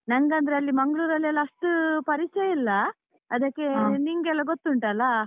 ನಂಗಂದ್ರೆ ಅಲ್ಲಿ ಮಂಗ್ಳೂರಲ್ಲಿ ಎಲ್ಲ ಅಷ್ಟು ಪರಿಚಯ ಇಲ್ಲ, ಅದಕ್ಕೆ ನಿಂಗೆಲ್ಲ ಗೊತ್ತುಂಟಲ್ಲ.